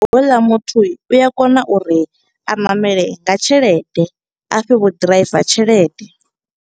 Ho u ḽa muthu u a kona uri a ṋamele nga tshelede, a fhe vho ḓiraiva tshelede.